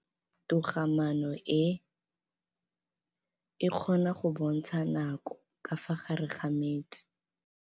Toga-maanô e, e kgona go bontsha nakô ka fa gare ga metsi.